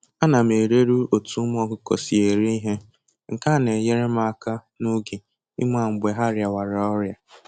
Ana m eleru otu ụmụ ọkụkọ si eri ihe, nke a na-enyere m aka n'oge ịma mgbe ha rịawara ọrịa